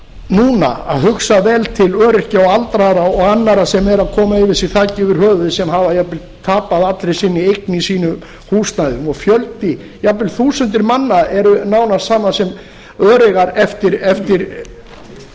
núna að hugsa vel til öryrkja og aldraðra og annarra sem eru að koma yfir sig þaki yfir höfuðið sem hafa jafnvel tapað allri sinni eign í sínu húsnæði og fjöldi jafnvel þúsundir manna eru nánast sama sem öreigar eftir